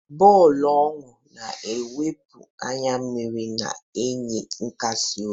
Bọọlụ owu na-ewepụ anya mmiri, na-enye nkasi obi.